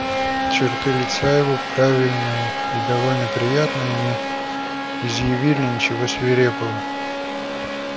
черты лица его правильные и довольно приятные не изъявляли ничего свирепого